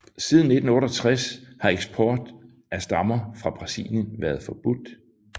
Siden 1968 har eksport af stammer fra Brasilien været forbudt